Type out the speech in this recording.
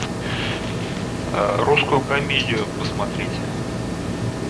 русскую комедию посмотреть